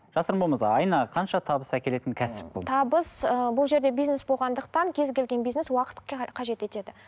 жасырын болмаса айына қанша табыс әкелетін кәсіп бұл табыс ыыы бұл жерде бизнес болғандықтан кез келген бизнес уақыт қажет етеді